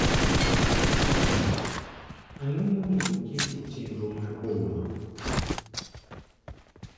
Ang'o monego oket e chenro mar boma?